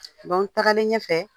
tagalen ɲɛfɛ